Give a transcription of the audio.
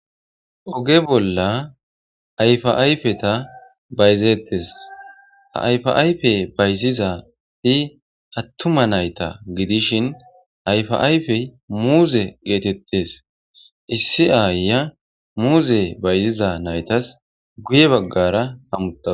Ogge bolla ayifa ayiffeta bayizzettes ha ayifa ayifeta bayizizayti attuma nayta giddishshi ha ayifa ayifey muzze gettetes issi ayiya muzze bayiziza nayitas guye. baggara hamutawusi.